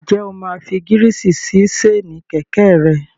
Ǹjẹ́ o máa fi gírísì sí séènì kẹ̀kẹ́ rẹ?